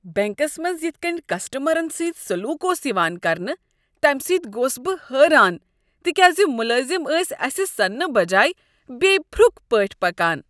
Banks منٛز یتھ کنۍ کسٹمرن سۭتۍ سلوک اوس یوان کرنہٕ تمہ سۭتۍ گوس بہٕ حیران تکیازِملٲزم ٲسۍ اسہ سننہ بجاے بے پھرُک پٲٹھی پکان۔